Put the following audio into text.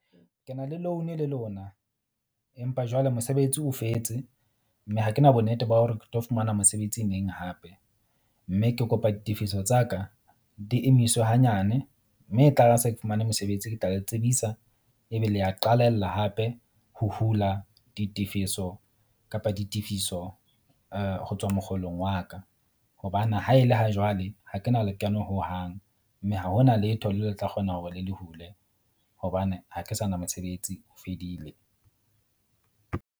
Ke na le loan le lona, empa jwale mosebetsi o fetse. Mme ha kena bonnete ba hore ke tlo fumana mosebetsi neng hape. Mme ke kopa ditefiso tsa ka di emiswe hanyane mme e tlare ha se ke fumane mosebetsi, ke tla le tsebisa, ebe le a qalella mme hape ho hula ditefiso kapa ditefiso ho tswa mokgolong wa ka. Hobane ha e le ho jwale, ha ke na lekeno hohang, mme ha hona letho, le tla kgona hore le le hule hobane ha ke sa na mosebetsi o fedile.